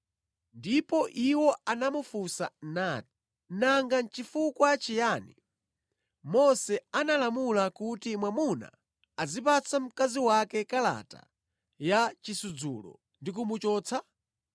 Ndipo iwo anamufunsa nati, “Nanga nʼchifukwa chiyani Mose analamula kuti mwamuna azipatsa mkazi wake kalata ya chisudzulo ndi kumuchotsa?”